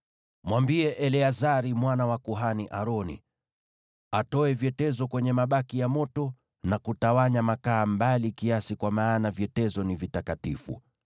“Mwambie Eleazari mwana wa kuhani Aroni, atoe vyetezo kwenye mabaki ya moto na kutawanya makaa mbali kiasi, kwa maana vyetezo ni vitakatifu: